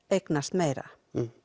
eignast meira